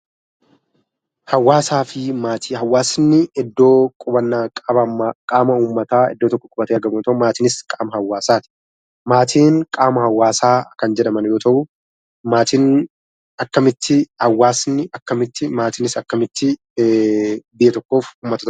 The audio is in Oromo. Hawaasaa fi maatii Hawaasni iddoo qubannaa qaama uummataa iddoo tokko qubatee argamuu, maatiinis qaama hawaasaati. Maatiin qaama hawaasaa kan jedhaman yemmuu ta'u, maatiin akkamitti, hawaasni akkamitti , maatiinis akkamitti biyya tokkoof uummata ta'u?